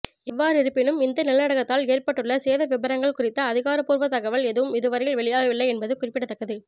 எவ்வாறிருப்பினும் இந்த நிலநடுக்கத்தால் ஏற்பட்டுள்ள சேதவிபரங்கள் குறித்த அதிகாரபூர்வ தகவல் எதுவும் இதுவரையில் வெளியாவில்லை என்பது குறிப்பிடத்தக்கது